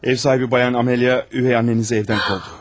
Ev sahibi xanım Amalya, Üvey Annenizi evdən qovdu.